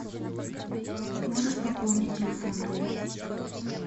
можешь пополнить телефон друга